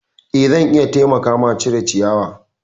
Eh zan iya taimaka ma cire ciyawa.